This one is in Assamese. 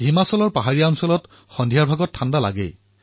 হিমাচলৰ পাহাৰত সন্ধিয়া শীত নামে